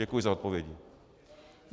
Děkuji za odpovědi.